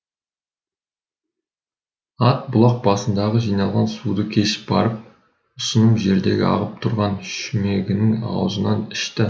ат бұлақ басындағы жиналған суды кешіп барып ұсыным жердегі ағып тұрған шүмегінің аузынан ішті